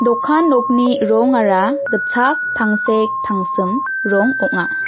dokan nokni rongara gitchak tangsek tangsim rong ong·a.